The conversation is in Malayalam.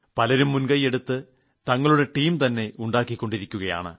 പലരും മുൻകൈയെടുത്ത് തങ്ങളുടെ ടീം തന്നെ ഉണ്ടാക്കികൊണ്ടിരിക്കുകയാണ്